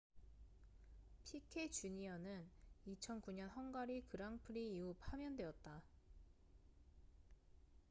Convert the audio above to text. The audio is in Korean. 피케 주니어piquet jr.는 2009년 헝가리 그랑프리 이후 파면되었다